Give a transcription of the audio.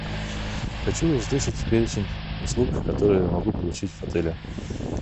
хочу услышать перечень услуг которые я могу получить в отеле